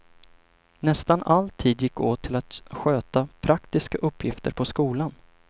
Nästan all tid gick åt till att sköta praktiska uppgifter på skolan.